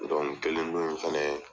kelen dɔnn in fɛnɛ